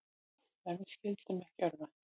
En við skyldum ekki örvænta.